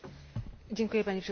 Panie Przewodniczący!